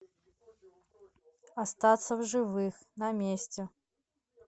остаться в живых на месте